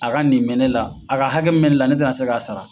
A ka nin bɛ ne la, a ka hakɛ min bɛ ne la ne tɛ na se k'a sara.